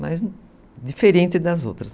Mas diferente das outras.